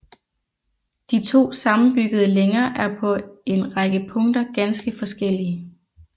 De to sammenbyggede længer er på en række punkter ganske forskellige